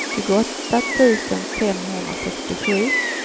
tjugoåtta tusen femhundrasextiosju